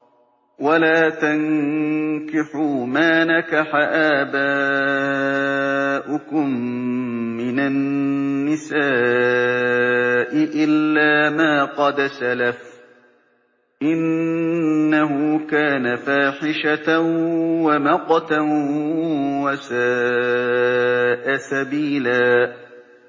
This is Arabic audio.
وَلَا تَنكِحُوا مَا نَكَحَ آبَاؤُكُم مِّنَ النِّسَاءِ إِلَّا مَا قَدْ سَلَفَ ۚ إِنَّهُ كَانَ فَاحِشَةً وَمَقْتًا وَسَاءَ سَبِيلًا